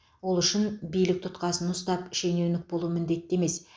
ол үшін билік тұтқасын ұстап шенеунік болу міндетті емес